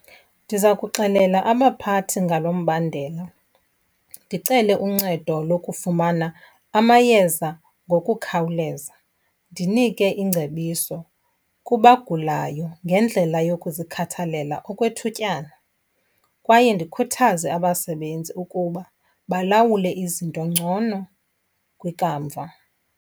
Ndiza kuxelela abaphathi ngalo mbandela. Ndicele uncedo lokufumana amayeza ngokukhawulezaa, ndinike ingcebiso kubagulayo ngendlela yokuzikhathalela okwethutyana kwaye ndikhuthaze abasebenzi ukuba balawule izinto ngcono kwikamva.